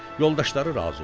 Yoldaşları razı oldular.